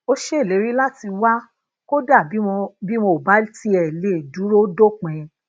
ó ṣèlérí lati wa kódà bí wọn ò bá tiè lè duro dopin